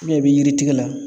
i bɛ yiri tigi la